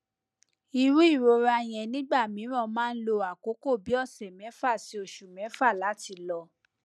iru irora yen nigbamiran ma n lo akoko bi ose mefa si osu mefa lati lo